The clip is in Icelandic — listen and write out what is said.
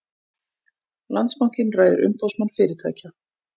Landsbankinn ræður Umboðsmann fyrirtækja